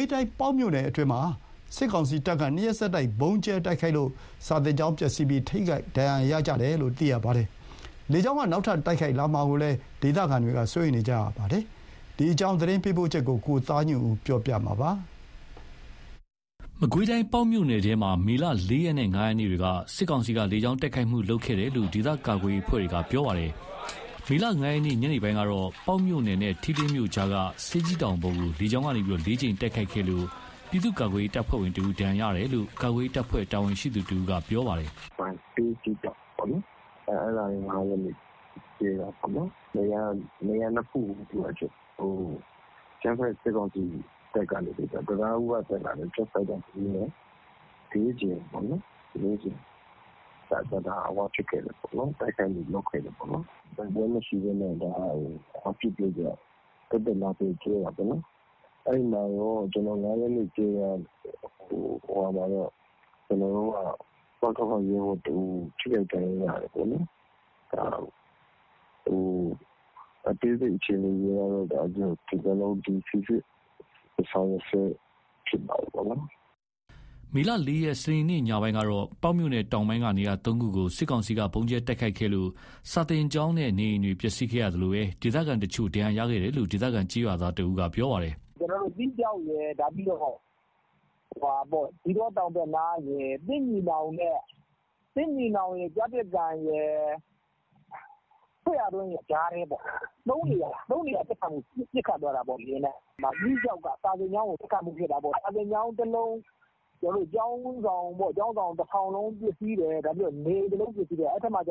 ေးတိုင်း ပေါက်မြို့နယ်အတွင်းမှာ စစ်ကောင်စီတပ်က နှစ်ရက်ဆက်တိုက် ဗုံးကြဲတိုက်ခိုက်လို့ စာသင်ကျောင်းပျက်စီးမှု ထိခိုက်ဒဏ်ရာရမှုရှိတယ်လို့ သိရပါတယ်။ လေကြောင်းတိုက်ခိုက်မှုတွေ နောက်ထပ်လုပ်လာမှာကိုလည်း ဒေသခံတွေ စိုးရိမ်နေကြပါတယ်။ ပေါက်မြို့နယ်အတွင်း စစ်ကောင်စီလေကြောင်းတိုက်ခိုက်မှု သတင်းပေးပို့ချက်ကို ကိုသားညွန့်ဦးက တင်ပြပေးထားပါတယ်။ မကွေးတိုင်း ပေါက်မြို့နယ်ထဲမှာ မေ ၄ ရက်နဲ့ ၅ ရက်နေ့တွေက စစ်ကောင်စီက လေကြောင်းတိုက်ခိုက်မှု လုပ်ခဲ့တယ်လို့ ဒေသကာကွယ်ရေးအဖွဲ့တွေက ပြောပါတယ်။ မေ ၅ ရက် ညနေပိုင်းကတော့ ပေါက်မြို့နယ်နဲ့ ထီးလင်းမြို့ကြားက ဆေးကြီးတောင်ပေါ်ကို လေကြောင်းကနေ ၄ ကြိမ်တိုက်ခိုက်ခဲ့လို့ ပြည်သူ့ကာကွယ်ရေးတပ်ဖွဲ့ဝင်တဦး ဒဏ်ရာရရှိတယ်လို့ ကာကွယ်ရေးတပ်ဖွဲ့ တာဝန်ရှိသူတဦးက ပြောပါတယ်။ "ဆေးကြီးတောင်ပေါ့ အဲ့ဒါက ၅ ရက်နေ့ ကြဲတာပေါ့။ နေရာ ၂ ခုကို အကြမ်းဖက် စစ်ကောင်စီရဲ့ တံတားဦးကတက်လာတဲ့ ဂျက်ဖိုက်တာ ၂ စီးနဲ့ ၄ ကြိမ်ပေါ့နော် တိုက်ခိုက်မှုလုပ်ခဲ့တယ်။ တိုက်ပွဲမရှိဘဲနဲ့ သက်သက်လာကြဲတာပေါ့။ အဲ့ ၅ ရက်နေ့ကြဲတာမှာ ကျနော်တို့ဘက်က ပကဖ ရဲဘော်တဦး ထိခိုက်ဒဏ်ရာ ရတယ်ပေါ့နော်။ အသေးစိတ်အခြေအနေက ကျနော်တို့ စီစစ်ဆောင်ရွက်ဆဲဖြစ်တာပေါ့။" မေ ၄ ရက် စနေနေ့ ညပိုင်းကတော့တော့ ပေါက်မြို့နယ်တောင်ပိုင်းက နေရာ ၃ ခုကို စစ်ကောင်စီက ဗုံးကြဲတိုက်ခိုက်ခဲ့လို့ စာသင်ကျောင်းနဲ့ နေအိမ်တွေ ပျက်စီးခဲ့ရသလို ဒေသခံတချို့ ဒဏ်ရာရခဲ့တယ်လို့ ဒေသခံကျေးရွာသားတဦးက ပြောပါတယ်။ "ကျနော်တို့ သီးခြောက် ၊ ဇီးတော တောင်ဘက်နား သစ်ညီနောင်ရယ်၊ ကျားပစ်ကန်ရယ်၊ သစ်ရာတွင်းရယ် ကြားထဲပေါ့။ ၃ နေရာ ပစ်ခတ်သွားတာပေါ့ လေယာဉ်နဲ့။ သီးခြောက်က စာသင်ကျောင်းကိုပစ်တာပေါ့။ စာသင်ကျောင်း တလုံး ကျောင်းဆောင်တဆောင်လုံး ပျက်စီးတယ်။ နေအိမ် တလုံးပျက်စီးတယ်ပေါ့။ အဲ့မှာက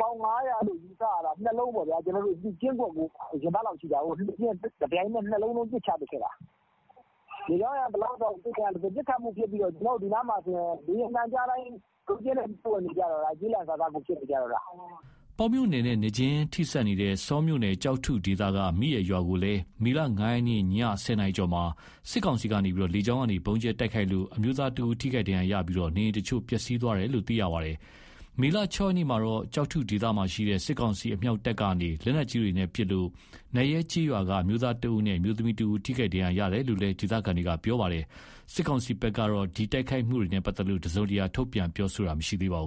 ပေါင် ၅၀၀ လို့ ယူဆရတာ ၂ လုံးပေါ့ဗျာ။ ကျင်းခွက်ကို ရင်ဘတ်လောက်ရှိတာကို တပြိုင်နက် ၂ လုံးလုံး ပစ်ချခဲ့တာ။ ပစ်ခတ်မှုဖြစ်ပြီးတော့ ဒီနားမှာဆိုရင် လေယာဉ်သံကြားတိုင်း ကျီးလန့်စာစားကို ဖြစ်နေတော့တာ။" ပေါက်မြို့နယ်နဲ့ နယ်မြေချင်းထိစပ်နေတဲ့ ဆောမြို့နယ် ကျောက်ထုဒေသက မိအယ်ရွာကိုလည်း မေ ၅ ရက် ည ၁၀ နာရီကျော်မှာ စစ်ကောင်စီက လေကြောင်းကနေ ဗုံးကြဲတိုက်ခိုက်လို့ အမျိုးသားတဦး ထိခိုက်ဒဏ်ရာရှိပြီး နေအိမ်တချို့ ပျက်စီးသွားတယ်လို့ သိရပါတယ်။ မေ ၆ ရက်မှာတော့ ကျောက်ထုဒေသမှာရှိတဲ့ စစ်ကောင်စီအမြောက်တပ်က လက်နက်ကြီးတွေပစ်ခတ်လို့ နတ်ရဲကျေးရွာက အမျိုးသားတဦးနဲ့ အမျိုးသမီးတဦး ထိခိုက်ဒဏ်ရာရတယ်လို့လည်း ဒေသခံတွေ ပြောပါတယ်။ စစ်ကောင်စီဘက်ကလည်း ဒီတိုက်ခိုက်မှုတွေနဲ့ပတ်သက်လို့ တစုံတရာ ထုတ်ပြန်ပြောဆိုတာမရှိပါဘူး